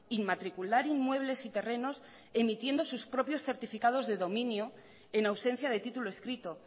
inmatricular inmuebles y terrenos emitiendo sus propios certificados de dominio en ausencia de título escrito